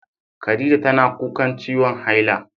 Khaɗijah tana kuƙan ciwon haila.